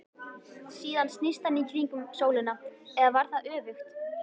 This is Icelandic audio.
Síðan snýst hann í kringum sólina, eða var það öfugt?